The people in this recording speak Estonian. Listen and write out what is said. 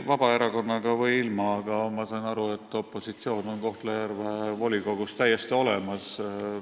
Vabaerakonnaga või ilma, aga ma saan aru, et opositsioon on Kohtla-Järve volikogus täiesti olemas.